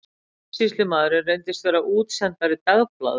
Kaupsýslumaðurinn reyndist vera útsendari dagblaðs